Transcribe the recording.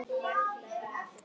Það er nafnið hans.